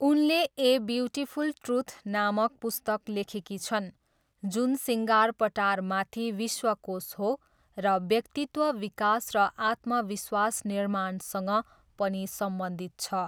उनले a beautiful truth नामक पुस्तक लेखेकी छन् जुन 'सिँगारपटारमाथि विश्वकोश हो र व्यक्तित्व विकास र आत्मविश्वास निर्माणसँग पनि सम्बन्धित छ'।